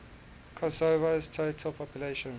kosovo's total population